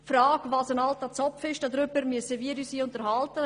Wir müssen uns auch über die Frage unterhalten, was ein alter Zopf ist.